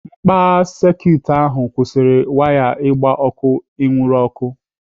Mkpagha sekit ahụ kwụsịrị waya igbe ọkụ inwuru ọkụ.